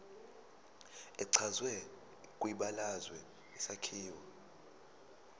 echazwe kwibalazwe isakhiwo